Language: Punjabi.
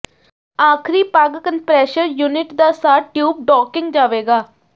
ਆਖਰੀ ਪਗ ਕੰਪ੍ਰੈਸ਼ਰ ਯੂਨਿਟ ਦਾ ਸਾਹ ਟਿਊਬ ਡੌਕਿੰਗ ਜਾਵੇਗਾ